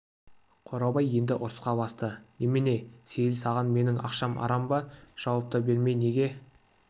қорабай енді ұрысқа басты немене сейіл саған менің ақшам арам ба жауап та бермей неге